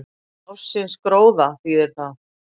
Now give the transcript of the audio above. Ársins gróða þýðir það,